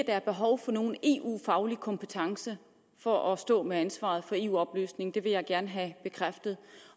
er behov for nogen eu faglig kompetence for at stå med ansvaret for eu oplysning det vil jeg gerne have bekræftet